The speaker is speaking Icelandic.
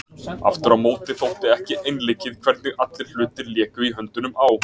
Aftur á móti þótti ekki einleikið hvernig allir hlutir léku í höndunum á